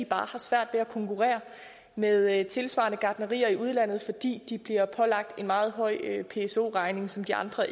bare har svært ved at konkurrere med tilsvarende gartnerier i udlandet fordi de bliver pålagt en meget høj pso regning som de andre